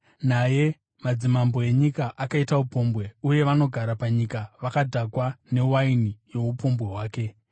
Naye, madzimambo enyika akaita upombwe uye vanogara panyika vakadhakwa newaini youpombwe hwake.”